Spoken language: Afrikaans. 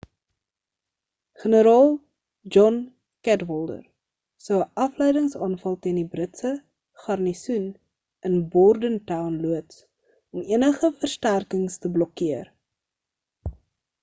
generaal john cadwalder sou 'n afleidings-aanval teen die britse garnisoen in bordentown loods om enige versterkings te blokkeer